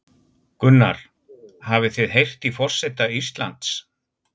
Gunnar: Hafið þið heyrt í forseta Íslands?